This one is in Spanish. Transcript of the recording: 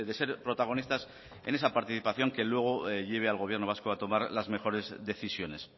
ser protagonistas en esa participación que luego lleve al gobierno vasco a tomar las mejores decisiones